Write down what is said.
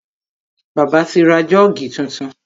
Bàbá ti ra Jọ́ọ̀gì tuntun.